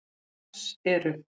Alls eru